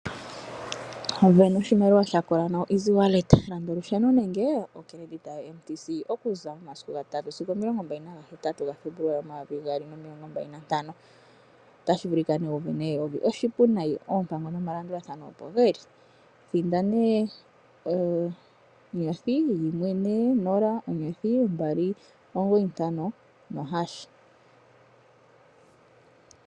Sindana oshimaliwa sha kola pamukalo gokutuma oshimaliwa kongodhi gwoBank Windhoek. Landa olusheno nenge ethimbo lyokongodhi lyoMTC okuza momasiku ga 3 sigo 28 Febuluali 2025. Otashi vulika wu sindane N$ 1000. Oshipu noonkondo. Oompango nomalandulathano opo ge li. Thinda *140*295#.